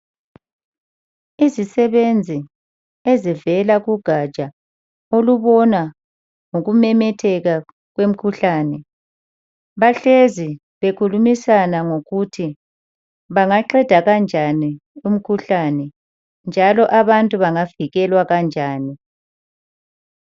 Izisebenzi ezivela kugaja olubona ngoku memetheka kwemkhuhlane bahlezi bekhulumisana ngokuthi bangaqeda kanjani umkhuhlane njalo abantu bangavikelwa kanjani.